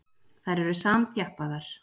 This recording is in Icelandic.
Þær eru samþjappaðar.